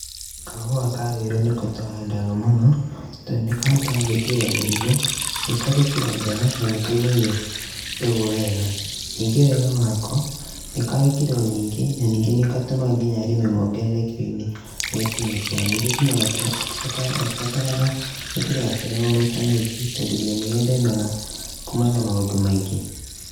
Kahũa ka rũirũ niko tũhandaga mũno, tondũ nĩkahotaga gwĩtiria mĩrimũ nĩ karĩ kiro njega na nĩkaumagia mbegũ wega, ningĩ wega wako nĩ karĩ kiro nyingĩ na ningĩ nĩgatũmaga arĩmi mongerere kiroinĩ harĩ kiro ciao, ingĩ gatibataraga gũtinda gakĩrorwo tondũ nĩgethemega kuma na maũndũ maingĩ.